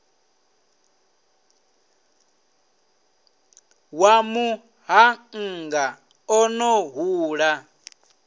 wa muṱhannga o no hula